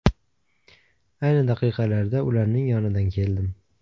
Ayni daqiqalarda ularning yonidan keldim.